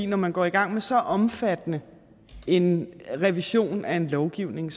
når man går i gang med så omfattende en revision af en lovgivning